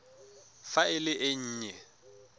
fa e le e nnye